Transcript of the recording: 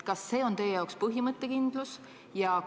Kas see on teie arvates põhimõttekindlus?